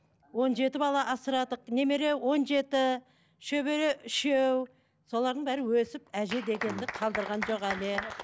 он жеті бала асырадық немере он жеті шөбере үшеу солардың бәрі өсіп әже дегенді қалдырған жоқ әлі